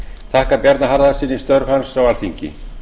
þakka bjarna harðarsyni störf hans á alþingi